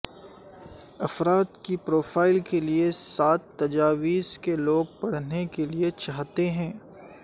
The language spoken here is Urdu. افراد کی پروفائلز کے لئے سات تجاویز کہ لوگ پڑھنے کے لئے چاہتے ہیں